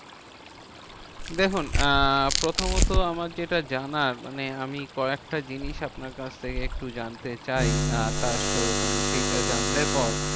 দেখুন আহ প্রথমত আমার যেটা জানার, মানে আমি কয়েকটা জিনিস আপনার কাছ থেকে একটু জানতে চাই, আহ মানে সেইটা জানলে পর